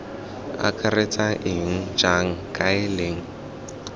akaretsang eng jang kae leng